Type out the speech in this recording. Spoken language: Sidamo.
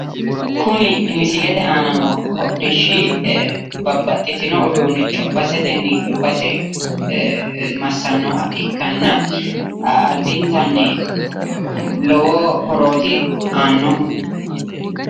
Kuni misilete aana noo hodhishshi babbaxxitino uduunicho basetenni base massannoha ikkanna adintanni lowo horooti aannohu.